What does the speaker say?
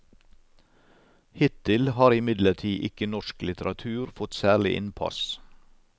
Hittil har imidlertid ikke norsk litteratur fått særlig innpass.